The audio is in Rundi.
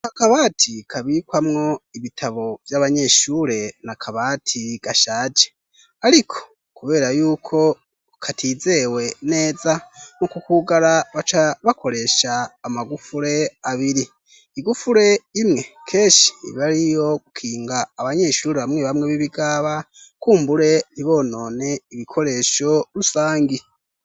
Aka kabati kabikwamwo ibitabo vy'abanyeshure, ni akabati gashaje. Ariko kubera y'uko katizewe neza, mu kukugara baca bakoresha amagufure abiri. Igufure imwe keshi iba ari iyo gukinga abanyeshure bamwe bamwe bibigaba, kumbure ntibonone ibikoresho rusangi.